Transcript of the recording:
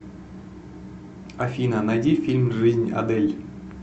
афина найди фильм жизнь адель